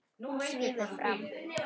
Hún svífur fram.